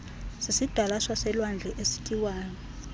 sisidalwa saselwandle esityiwayo